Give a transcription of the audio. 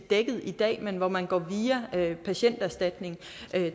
dækket i dag men hvor man går via patienterstatningen